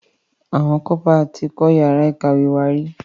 Àwọn Kọ́pà tí kọ́ yàrá ìkàwé wá rí.